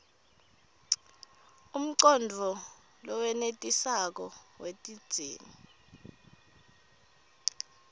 umcondvo lowenetisako wetidzingo